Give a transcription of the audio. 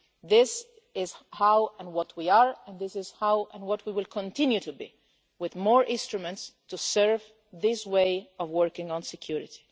This is how and what we are, and this is how and what we will continue to be, with more instruments to serve this way of working on security.